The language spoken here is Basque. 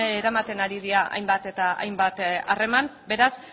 eramaten ari dira hainbat eta hainbat harreman beraz